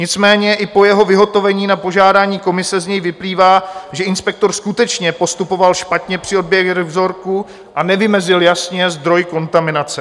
Nicméně i po jeho vyhotovení na požádání komise z něj vyplývá, že inspektor skutečně postupoval špatně při odběru vzorků a nevymezil jasně zdroj kontaminace.